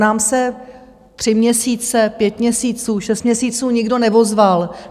Nám se tři měsíce, pět měsíců, šest měsíců nikdo neozval.